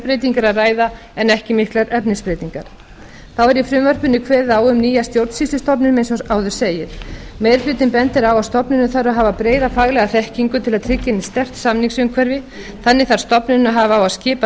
formbreytingar að ræða en ekki miklar efnisbreytingar þá er í frumvarpinu kveðið á um nýja stjórnsýslustofnun eins og áður segir meiri hlutinn bendir á að stofnunin þarf að hafa breiða faglega þekkingu til að tryggja henni sterkt samningsumhverfi þannig þarf stofnunin að hafa á að skipa